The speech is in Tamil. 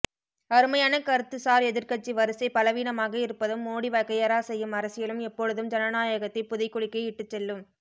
அருமையான கருத்து சார் எதிர்கட்சி வரிசை பலவீனமாக இருப்பதும் மோடி வகையறா செய்யும் அரசியலும் எப்பொழுதும் ஜனநாயகத்தை புதைகுழிக்கே இட்டுச்செல்லும்